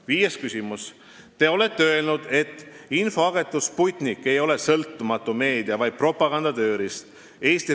Viies küsimus: "Te olete öelnud, et infoagentuur Sputnik ei ole "sõltumatu meedia, vaid propaganda tööriist".